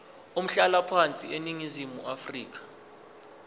umhlalaphansi eningizimu afrika